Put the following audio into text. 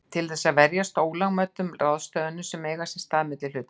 til þess að verjast ólögmætum ráðstöfunum sem eiga sér stað milli hlutafélaga.